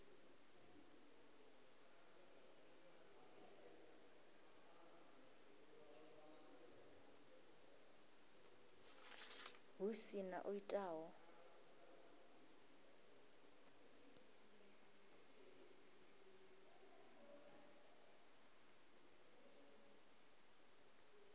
hu si na o itaho